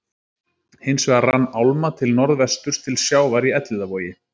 Hins vegar rann álma til norðvesturs til sjávar í Elliðavogi.